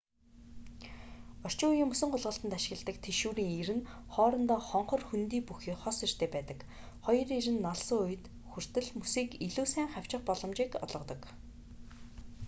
орчин үеийн мөсөн гулгалтад ашигладаг тэшүүрийн ир нь хоорондоо хонхор хөндий бүхий хос иртэй байдаг хоёр ир нь налсан үед хүртэл мөсийг илүү сайн хавчих боломжийг олгодог